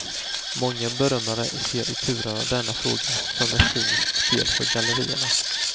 Många bedömare ser turerna i denna fråga som ett cyniskt spel för gallerierna.